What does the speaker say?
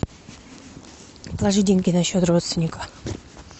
положи деньги на счет родственника